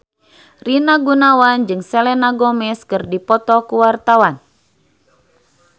Rina Gunawan jeung Selena Gomez keur dipoto ku wartawan